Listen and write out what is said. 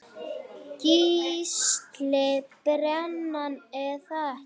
Gísli:. brennan er það ekki?